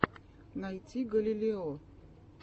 найти галилео